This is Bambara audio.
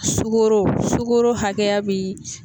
Sukoro sukoro hakɛya bi